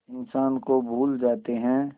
इंसान को भूल जाते हैं